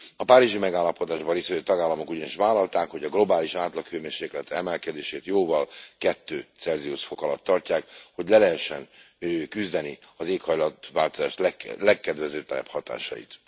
A Párizsi Megállapodásban részt vevő tagállamok ugyanis vállalták, hogy a globális átlaghőmérséklet emelkedését jóval kettő Celsius fok alatt tartják, hogy le lehessen küzdeni az éghajlatváltozás legkedvezőtlenebb hatásait.